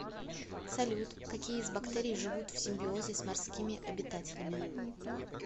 салют какие из бактерий живут в симбиозе с морскими обитателями